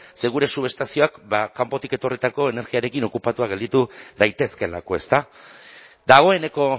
ze gure subestazioak kanpotik etorritako energiarekin okupatuak gelditu daitezkeelako ezta dagoeneko